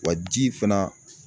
Wa ji fana